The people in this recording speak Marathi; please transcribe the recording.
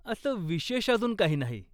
असं विशेष अजून काही नाही.